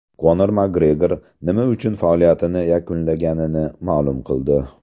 Konor Makgregor nima uchun faoliyatini yakunlaganini ma’lum qildi.